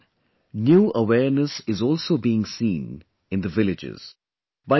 This time, new awareness is also being seen in the villages